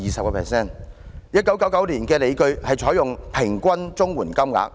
當局在1999年提出的理據，是採用"平均"綜援金額計算。